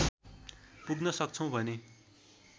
पुग्न सक्छौँ भने